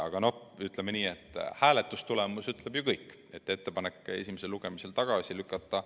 Aga ütleme nii, et hääletustulemus ütleb ju kõik: teha ettepanek eelnõu esimesel lugemisel tagasi lükata.